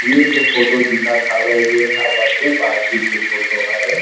ये जो फोटो दिखत हावे वोहा बर्थडे पार्टी के फोटो हरे ।